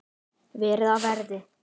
Verið á verði.